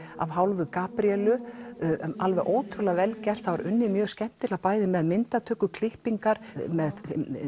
af hálfu Gabríelu alveg ótrúlega vel gert það var unnið mjög skemmtilega bæði með myndatöku klippingar með